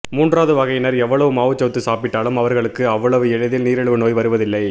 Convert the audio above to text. மூன்றாவது வகையினர் எவ்வளவு மாவுச்சத்து சாப்பிட்டாலும் அவர்களுக்கு அவ்வளவு எளிதில் நீரிழிவு நோய் வருவதில்லை